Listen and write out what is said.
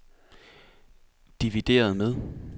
divideret med